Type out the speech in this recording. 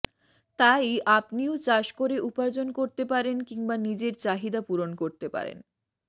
তাই আপনিও চাষ করে উপার্জন করতে পারেন কিংবা নিজের চাহিদা পূরণ করতে পারেন